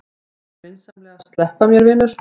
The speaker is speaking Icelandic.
Viltu vinsamlegast sleppa mér, vinur!